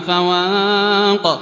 فَوَاقٍ